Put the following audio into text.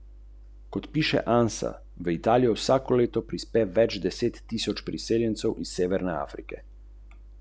Katere avtohtone sorte vrtnih so pri nas najbolj priljubljene in komercialno najbolj uspešne?